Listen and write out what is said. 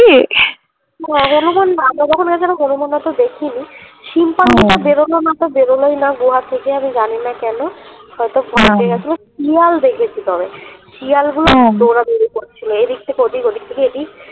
হলুমান না আমরা যখন গেছিলাম হলুমান অত দেখি নি, শিম্পাঞ্জিটা বেরোলো না তো বেরোলেই না গুহা থেকে আমি জানি না কেন হয়তো শিয়াল দেখেছি তবে শিয়ালগুলো দৌড়াদৌড়ি করছিলো এদিক থেকে ওদিক ওদিক থেকে এদিক।